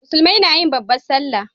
musulmai nayi babban sallah